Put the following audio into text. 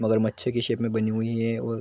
मगरमच्छ के शेप में बनी हुई है और --